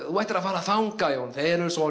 þú ættir að fara þangað Jón þeir eru svo